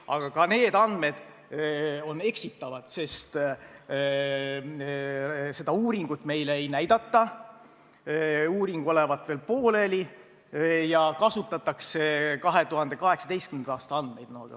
Aga ka need andmed on eksitavad, sest seda uuringut meile ei näidata – uuring olevat veel pooleli – ja kasutatakse 2018. aasta andmeid.